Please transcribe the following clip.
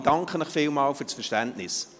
– Ich danke Ihnen vielmals fürs Verständnis.